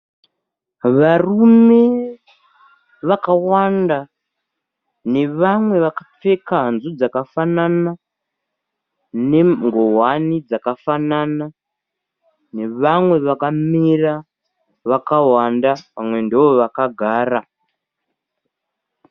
Varume wakawanda nevamwe vakapfeka hanzu dzakafanana nengowani dzakafanana nevamwe vakamira vakawanda vamwe ndovakagara.